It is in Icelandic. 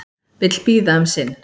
Vill bíða um sinn